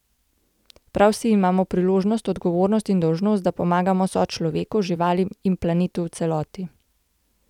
Prav vsi imamo priložnost, odgovornost in dolžnost, da pomagamo sočloveku, živalim in planetu v celoti.